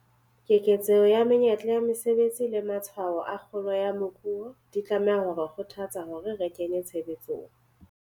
Keketseho ya menyetla ya mesebetsi le matshwao a kgolo ya moruo, di tlameha ho re kgothatsa hore re kenye tshebetsong